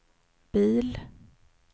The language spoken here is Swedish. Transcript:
bil